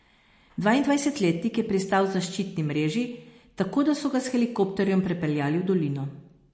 Dvaindvajsetletnik je pristal v zaščitni mreži, tako da so ga s helikopterjem prepeljali v dolino.